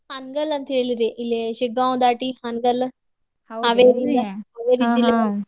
ಹಾನಗಲ್ ಅಂತ ಹೇಳಿರಿ ಇಲ್ಲಿ ಶಿಗ್ಗಾವ್ ದಾಟಿ ಹಾನಗಲ್ .